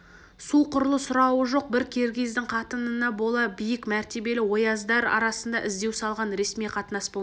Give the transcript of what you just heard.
су құрлы сұрауы жоқ бір киргиздің қатынына бола биік мәртебелі ояздар арасында іздеу салған ресми қатынас болмақ